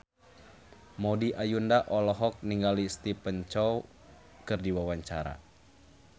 Maudy Ayunda olohok ningali Stephen Chow keur diwawancara